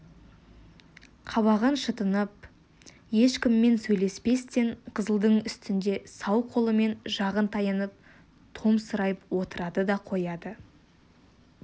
қабағын шытынып ешкіммен сөйлеспестен қызылдың үстінде сау қолымен жағын таянып томсырайып отырады да қояды